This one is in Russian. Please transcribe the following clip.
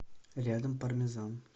рядом пармезан